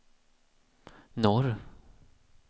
norr